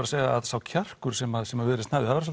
að segja að sá kjarkur sem sem Viðreisn hafði það